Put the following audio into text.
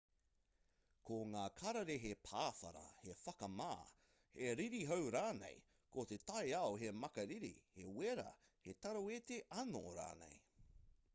ko ngā kararehe pāwhara he whakamā he ririhau rānei ko te taiao he makariri he wera he taraweti anō rānei